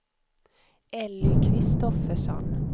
Elly Kristoffersson